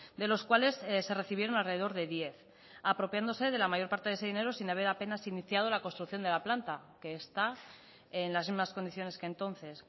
de los cuales se recibieron alrededor de diez apropiándose de la mayor parte de ese dinero sin haber apenas iniciado la construcción de la planta que está en las mismas condiciones que entonces